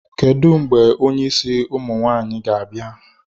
Kedu mgbe onye isi ụmụ nwaanyị ga-abịa?